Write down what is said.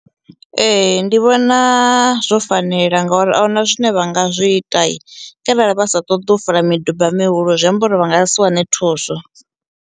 Ee ndi vhona zwo fanela ngauri ahuna zwine vha nga zwi itai kharali vha sa ṱoḓi u fola miduba mihulu zwi amba uri vha nga si wane thuso.